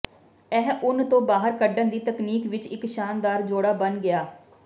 ਇਹ ਉੱਨ ਤੋਂ ਬਾਹਰ ਕੱਢਣ ਦੀ ਤਕਨੀਕ ਵਿਚ ਇਕ ਸ਼ਾਨਦਾਰ ਜੋੜਾ ਬਣ ਗਿਆ